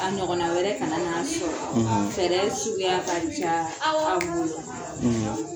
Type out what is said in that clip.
A ɲɔgɔna wɛrɛ kana n'a sɔrɔ fɛrɛ suguya ka ca aw bolo